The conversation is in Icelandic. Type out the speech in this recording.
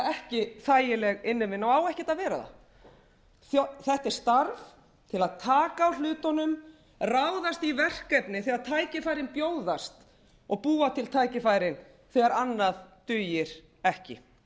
ekki þægileg innivinna og á ekkert að vera það þetta er starf til að taka á hlutunum ráðast í verkefni þegar tækifærin bjóðast og búa til tækifærin þegar annað dugir ekki